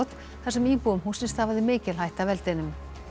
þar sem íbúum hússins stafaði mikil hætta af eldinum